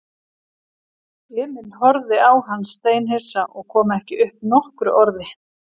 Emil horfði á hann steinhissa og kom ekki upp nokkru orði.